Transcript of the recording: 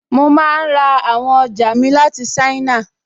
Mo máa n ra àwọn ọjà mi láti ṣáínà